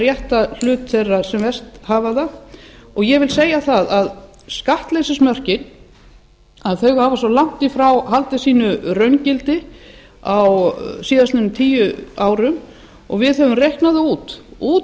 hlut þeirra sem verst hafa það skattleysismörkin hafa svo langt í frá haldið raungildi sínu á síðustu tíu árum við höfum reiknað það út